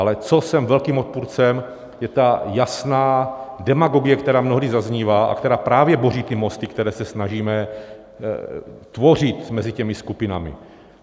Ale čeho jsem velkým odpůrcem, je ta jasná demagogie, která mnohdy zaznívá a která právě boří ty mosty, které se snažíme tvořit mezi těmi skupinami.